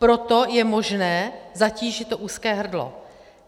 Proto je možné zatížit to úzké hrdlo.